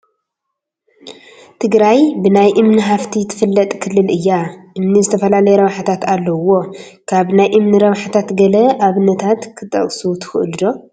ትግራይ ብናይ እምኒ ሃፍቲ ትፍለጥ ክልል እያ፡፡ እምኒ ዝተፈላለዩ ረብሓታት ኣለዉዎ፡፡ ካብ ናይ እምኒ ረብሓታት ገለ ኣብነታት ክትጠቕሱ ትኽእሉ ዶ?